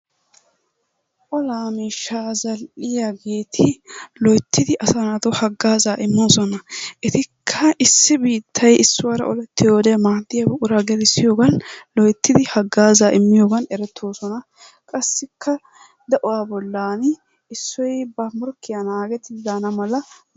Olaa miishshaa zal'iyageeti loyittidi asaa naatu haggaazaa immoosona. Etikka issi biittay issuwaara olettiyode maaddiya buquraa gelissiyogan loyittidi haggaazaa immiyogan erettoosona. Qassikka de'uwa bollan issoy ba morkkiya naagettidi daana mala.